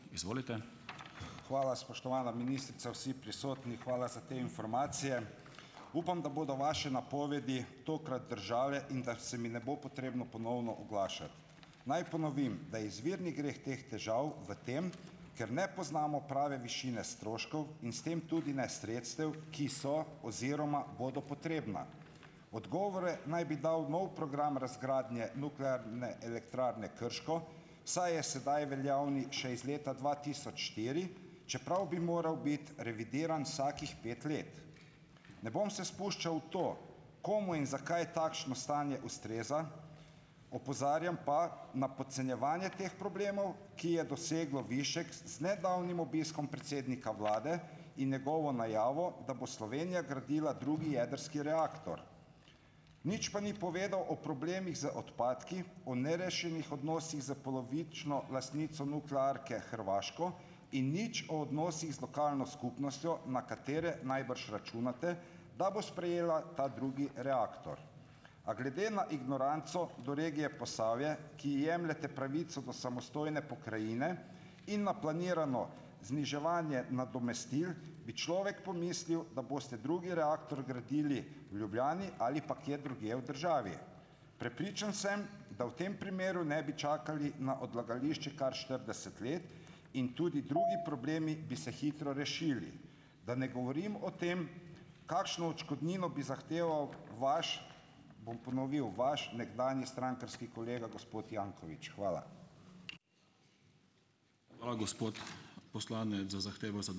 Izvolite. Hvala, spoštovana ministrica, vsi prisotni, hvala za te informacije. Upam, da bodo vaše napovedi tokrat držale in da se mi ne bo potrebno ponovno oglašati. Naj ponovim, da je izvirni greh teh težav v tem, ker ne poznamo prave višine stroškov in s tem tudi ne sredstev, ki so oziroma bodo potrebna. Odgovore naj bi dal nov program razgradnje Nuklearne elektrarne Krško, saj je sedaj veljavni še iz leta dva tisoč štiri, čeprav bi moral biti revidiran vsakih pet let. Ne bom se spuščal v to, komu in zakaj takšno stanje ustreza, opozarjam pa na podcenjevanje teh problemov, ki je doseglo višek z nedavnim obiskom predsednika vlade in njegovo najavo, da bo Slovenija gradila drugi jedrski reaktor. Nič pa ni povedal o problemih z odpadki, o nerešenih odnosih s polovično lastnico nuklearke Hrvaško in nič o odnosih z lokalno skupnostjo, na katere najbrž računate, da bo sprejela ta drugi reaktor. A glede na ignoranco do regije Posavje, ki jemljete pravico do samostojne pokrajine in na planirano zniževanje nadomestil, bi človek pomislil, da boste drugi reaktor gradili v Ljubljani ali pa kje drugje v državi. Prepričan sem, da v tem primeru ne bi čakali na odlagališče kar štirideset let in tudi drugi problemi bi se hitro rešili. Da ne govorim o tem, kakšno odškodnino bi zahteval vaš, bom ponovil, vaš nekdanji strankarski kolega gospod Janković. Hvala. Hvala, gospod poslanec, za zahtevo ...